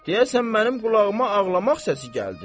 Deyəsən mənim qulağıma ağlamaq səsi gəldi.